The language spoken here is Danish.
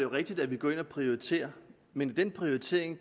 rigtigt at vi går ind og prioriterer men i den prioritering